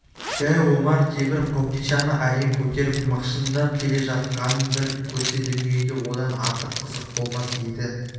дәу омар темір қобдишаны әрең көтеріп мықшыңдап келе жатқанын бір көрсе дүниеде одан артық қызық болмас еді